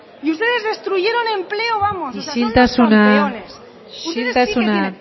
y ustedes destruyeron empleo vamos o sea son unos campeones isiltasuna isiltasuna